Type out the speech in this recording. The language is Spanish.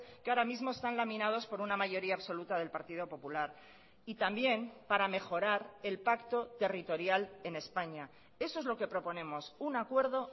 que ahora mismo están laminados por una mayoría absoluta del partido popular y también para mejorar el pacto territorial en españa eso es lo que proponemos un acuerdo